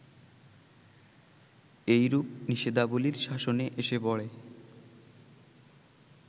এইরূপ নিষেধাবলির শাসনে এসে পড়ে